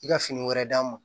I ka fini wɛrɛ d'a ma